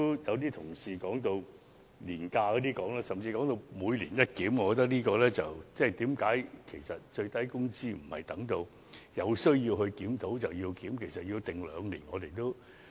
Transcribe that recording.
有同事剛才提及年假，甚至要求最低工資"每年一檢"，我覺得最低工資應該在有需要檢討的時候才檢討。